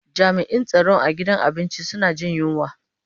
Jami'in tsaron a gidan abinci suna jin yunwa.